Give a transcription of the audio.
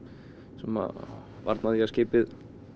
sem að varna því að skipið